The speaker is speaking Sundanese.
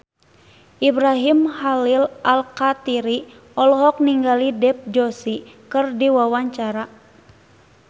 Ibrahim Khalil Alkatiri olohok ningali Dev Joshi keur diwawancara